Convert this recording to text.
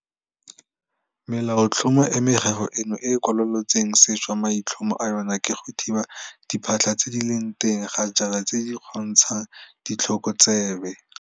Melaotlhomo e meraro eno e e kwalolotsweng sešwa maitlhomo a yona ke go thiba diphatlha tse di leng teng ga jaana tse di kgontshang ditlhokotsebe